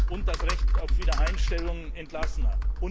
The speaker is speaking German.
und das Recht auf Wiedereinstellung Entlassener.